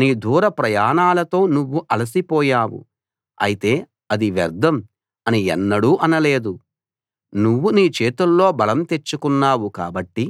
నీ దూర ప్రయాణాలతో నువ్వు అలసిపోయావు అయితే అది వ్యర్ధం అని ఎన్నడూ అనలేదు నువ్వు నీ చేతుల్లో బలం తెచ్చుకున్నావు కాబట్టి